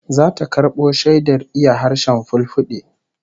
Zata karbo shaidar iya harshen Fulfulde